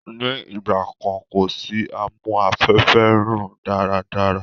Ni ìgbàkan kosi amu-afẹ́fẹ́-rùn-daárádára